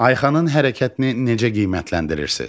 Ayxanın hərəkətini necə qiymətləndirirsiz?